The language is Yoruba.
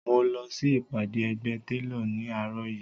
Mo lọ sí ìpàdé ẹgbẹ́ télọ̀ ní àárọ̀ yìí